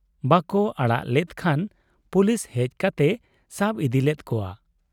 ᱵᱟᱠᱚ ᱚᱲᱟᱜ ᱞᱮᱫ ᱠᱷᱟᱱ ᱯᱩᱞᱤᱥᱦᱮᱡ ᱠᱟᱛᱮᱭ ᱥᱟᱵ ᱤᱫᱤᱞᱮᱫ ᱠᱚᱣᱟ ᱾